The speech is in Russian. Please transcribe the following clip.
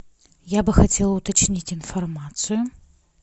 я бы хотела уточнить информацию